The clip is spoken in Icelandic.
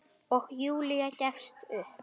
Og Júlía gefst upp.